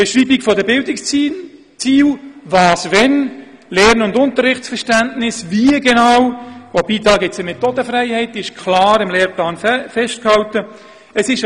Die Beschreibung der Bildungsziele, was wann geschieht, wie Lernen und Unterrichtsverständnis genau erreicht werden sollen – wobei hier eine Methodenfreiheit besteht, die auch klar im Lehrplan festgehalten ist.